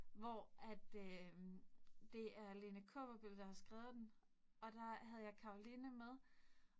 Hvor at øh det er Lene Kaaberbøl, der har skrevet den, og der havde jeg Caroline med